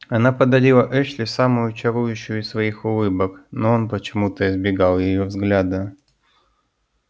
она подарила эшли самую чарующую из своих улыбок но он почему-то избегал её взгляда